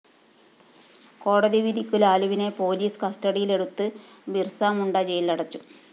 കോടതി വിധിക്കു ലാലുവിനെ പോലീസ് കസ്റ്റഡിയിലെടുത്ത് ബിര്‍സ മുണ്ട ജയിലിലടച്ചു